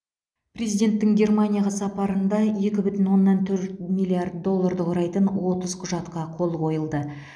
президенттің германияға сапарында екі бүтін оннан төрт миллиард долларды құрайтын отыз құжатқа қол қойылды